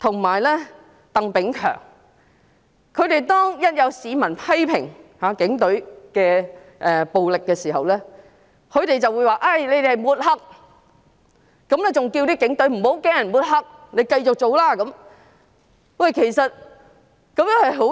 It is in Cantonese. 每當有市民批評警隊的暴力時，"林鄭"、李家超和鄧炳強便會說這是抹黑，還叫警隊不要怕被抹黑，要繼續如常工作，我認為這是十分不妥的。